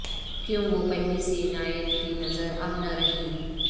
کیوں وہ پہلی سی عنایت کی نظر اب نہ رہی